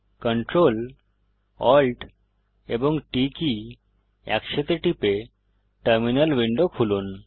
Ctrl Alt এবং T key একসাথে টিপে টার্মিনাল উইন্ডো খুলুন